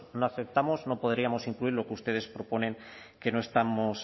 no aceptamos no podríamos incluir lo que ustedes proponen que no estamos